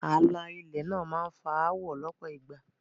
Ààlà ilẹ̀ náà máá ń fa áwọ̀ lọ́pọ̀ ìgbà